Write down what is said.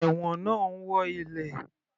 Ẹ̀wọ̀n náà ń wọ́ ilẹ̀.